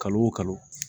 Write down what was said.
Kalo o kalo